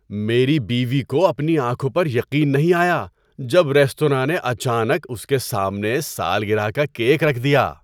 میری بیوی کو اپنی آنکھوں پر یقین نہیں آیا جب ریستوراں نے اچانک اس کے سامنے سالگرہ کا کیک رکھ دیا۔